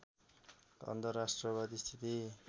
अन्धराष्ट्रवादी स्थिति